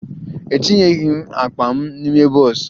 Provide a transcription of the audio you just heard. A etinyeghi akpa m n'ime bọs